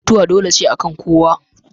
Mutuwa dole ce akan kowa